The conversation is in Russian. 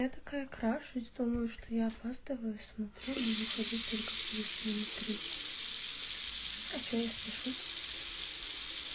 я такая крашусь думаю что я опаздываю смотрю мне выходить только через минут тридцать а что я спешу